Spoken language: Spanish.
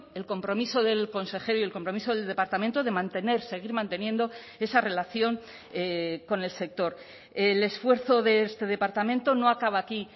el compromiso del consejero y el compromiso del departamento de mantener seguir manteniendo esa relación con el sector el esfuerzo de este departamento no acaba aquí